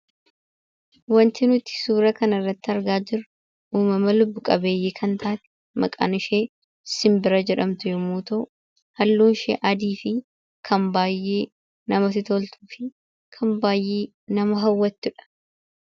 Wanti nuti suura kanarratti argaa jirru uumama lubbu qabeeyyii kan taate maqaan ishee simbira jedhamtu yommuu ta'u, halluun ishee adii fi kan baay'ee namatti toltuu fi kan baay'ee nama hawwattudha.